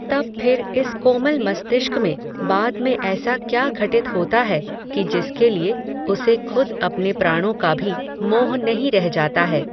तब फिर इस कोमल मस्तिष्क में, बाद में ऐसा क्या घटित होता है, कि जिसके लिए, उसे खुद अपने प्राणों का भी, मोह नहीं रह जाता है